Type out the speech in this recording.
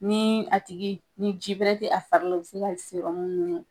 Ni a tigi ni ji bɛrɛ tɛ a fari la, u bɛ se ka sɔrɔmu ɲini